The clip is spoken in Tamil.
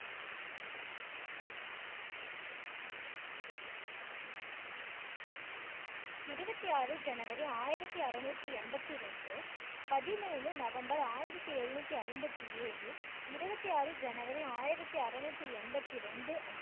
இருபத்தி ஆறு ஜனவரி ஆயிரத்தி அறநூத்தி எம்பத்தி இரண்டு பதிமூணு நவம்பர் ஆயிரத்தி எழுநூத்தி ஐம்பத்தி ஏழு இருபத்தி ஆறு ஜனவரி ஆயிரத்தி அறநூத்தி எம்பத்தி ரெண்டு அன்று